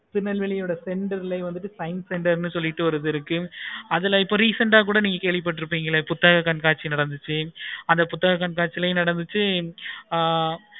திருநெல்வேலியோட center லாவே science center னு சொல்லிட்டு ஒன்னு இருக்கு. அதுலையே இப்போ recent ஆஹ் கேள்வி பட்டு இருப்பீங்களே புத்தக கண்காட்சி நடந்துச்சு புத்தக கண்காட்சி நடந்துச்சு ஆஹ்